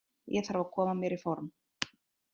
Ég þarf að koma mér í form.